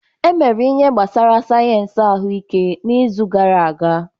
E emere ihe gbasara sayensị ahụike n'izu gara aga.